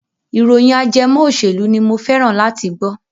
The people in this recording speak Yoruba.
ìròyìn ajẹmọ òṣèlú ni mo fẹ́ràn láti gbọ́.